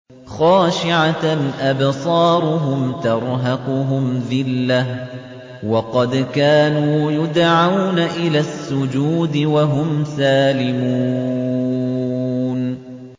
خَاشِعَةً أَبْصَارُهُمْ تَرْهَقُهُمْ ذِلَّةٌ ۖ وَقَدْ كَانُوا يُدْعَوْنَ إِلَى السُّجُودِ وَهُمْ سَالِمُونَ